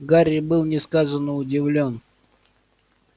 гарри был несказанно удивлён